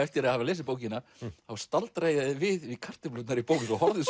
eftir að hafa lesið bókina þá staldraði ég við við kartöflurnar í Bónus og horfði